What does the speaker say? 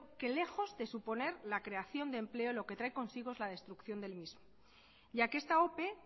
que lejos de suponer la creación de empleo lo que trae la destrucción del mismo ya que esta ope